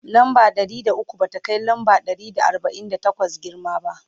lamba Ɗari da ukwu ba ta Kai lamba Ɗari da arbain da takwas girma ba